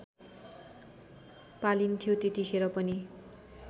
पालिन्थ्यो त्यतिखेर पनि